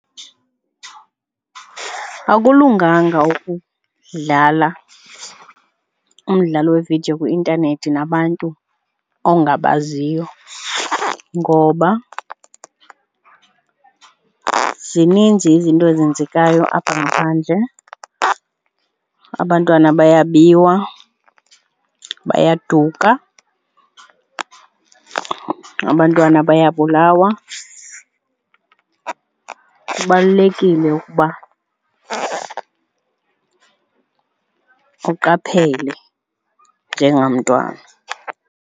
Akulunganga ukudlala umdlalo wevidiyo kwi-intanethi nabantu ongabaziyo ngoba zininzi izinto ezenzekayo apha ngaphandle, abantwana bayabiwa, bayaduka, abantwana bayabulawa. Kubalulekile ukuba uqaphele njengamntwana.